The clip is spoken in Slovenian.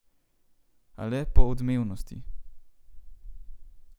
A le po odmevnosti.